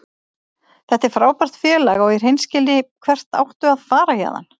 Þetta er frábært félag og í hreinskilni, hvert áttu að fara héðan?